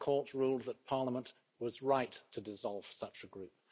The Court ruled that Parliament was right to dissolve such a group.